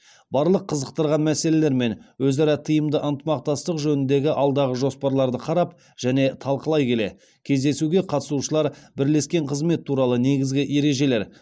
барлық қызықтырған мәселелер мен өзара тиімді ынтымақтастық жөніндегі алдағы жоспарларды қарап және талқылай келе кездесуге қатысушылар бірлескен қызмет туралы негізгі ережелер